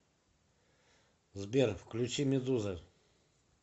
сбер включи медуза